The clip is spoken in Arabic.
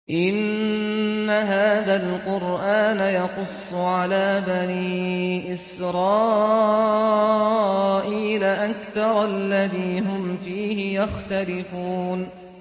إِنَّ هَٰذَا الْقُرْآنَ يَقُصُّ عَلَىٰ بَنِي إِسْرَائِيلَ أَكْثَرَ الَّذِي هُمْ فِيهِ يَخْتَلِفُونَ